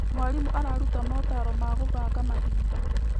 Mwarimũ araruta motaaro ma gũbanga mahinda.